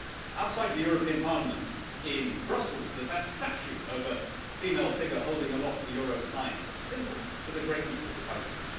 Outside the European Parliament in Brussels there is that statue of a female figure holding aloft the euro sign as a symbol to the greatness of the currency.